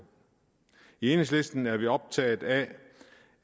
i enhedslisten er vi optaget af